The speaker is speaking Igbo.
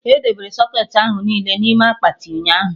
Edebere socketị ahụ niile n'ime akpati, ụnyaahụ